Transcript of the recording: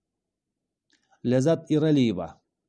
ләззат ералиева